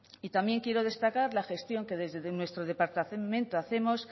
y también quiero destacar la gestión que desde nuestro departamento hacemos